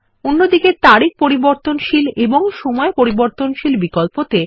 অন্য দিকে তারিখ পরিবর্তনশীল এবং সময় পরিবর্তনশীল বিকল্পতে